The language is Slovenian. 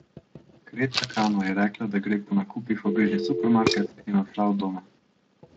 Kreta Kano je rekla, da gre po nakupih v bližnji supermarket, in odšla od doma.